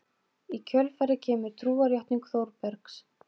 Í kjölfarið kemur trúarjátning Þórbergs